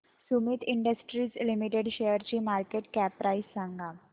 Sumeet industries limited शेअरची market cap price सांगा